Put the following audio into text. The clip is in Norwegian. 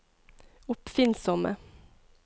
oppfinnsomme